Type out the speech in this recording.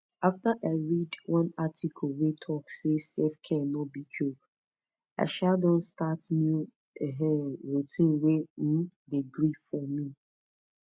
after i read one article wey talk say selfcare no be joke i um don start new um routine wey um dey gree for me